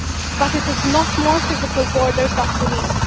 But it is not more physical borders that we need.